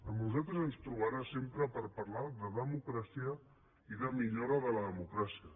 a nosaltres ens trobarà sempre per parlar de democràcia i de millora de la democràcia